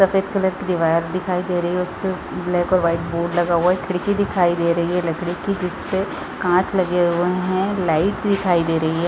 सफ़ेद कलर की दीवार दिखाई दे रही है उसपे ब्लैक और वाइट बोर्ड लगा हुआ है खिड़की दिखाई दे रही है लकड़ी की जिसपे काँच लगे हुए है लाइट दिखाई दे रही हैं ।